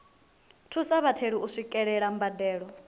thusa vhatheli u swikelela mbadelo